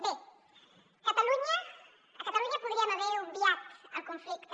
bé a catalunya podríem haver obviat el conflicte